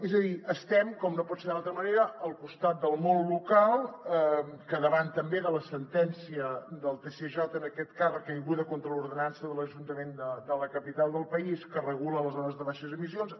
és a dir estem com no pot ser d’altra manera al costat del món local que davant també de la sentència del tsj en aquest cas recaiguda contra l’ordenança de l’ajuntament de la capital del país que regula les zones de baixes emissions